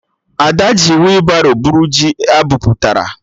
Ada ji weebaro bụrụ ji abụpụtara